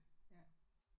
Ja